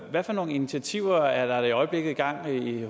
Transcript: hvad for nogle initiativer er der i øjeblikket i gang